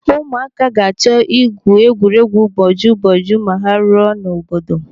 Ụmụaka ga-achọ igwu egwuregwu boju boju ma ha ruo n'obodo.